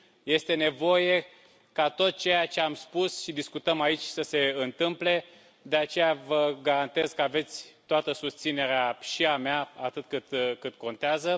Este nevoie ca tot ceea ce am spus și discutăm aici să se întâmple, de aceea vă garantez că aveți toată susținerea, și a mea atât cât contează.